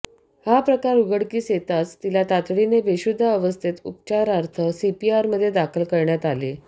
हा प्रकार उघडकीस येताच तिला तातडीने बेशुद्धावस्थेत उपचारार्थ सीपीआरमध्ये दाखल करण्यात आले